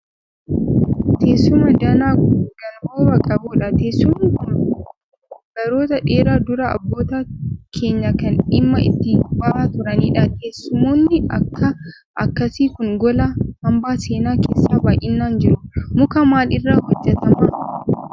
Teessuma danaa gonboobaa qabuudha. Teessumni kun baroota dheeraa dura abboota keenyaan kan dhimma itti ba'aa turaniidha. Teessumoonni akkas akkasii kun gola hambaa seenaa keessa baayinaan jiru. Muka maal irra hojjetamaa?